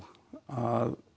að